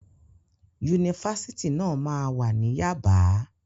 Yunifásitì náà máa wà ní Yábàá.